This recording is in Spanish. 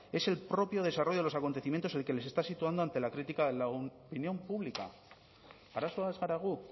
es el propio desarrollo de los acontecimientos el que les está situando ante la crítica de opinión pública arazoa ez gara gu